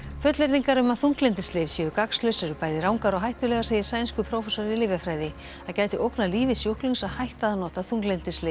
fullyrðingar um að þunglyndislyf séu gagnslaus eru bæði rangar og hættulegar segir sænskur prófessor í lyfjafræði það geti ógnað lífi sjúklings að hætta að nota þunglyndislyf